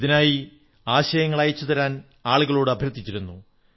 ഇതിനായി ആശയങ്ങൾ അയച്ചുതരാൻ ആളുകളോട് അഭ്യർഥിച്ചിരുന്നു